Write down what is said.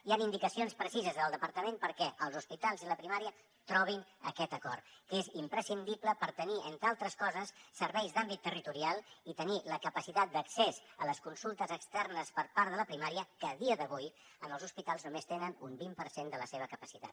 hi han indicacions precises del departament perquè els hospitals i la primària trobin aquest acord que és imprescindible per tenir entre altres coses serveis d’àmbit territorial i tenir la capacitat d’accés a les consultes externes per part de la primària que a dia d’avui en els hospitals només tenen un vint per cent de la seva capacitat